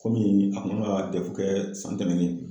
Kɔmi a kun kan ka kɛ san tɛmɛnen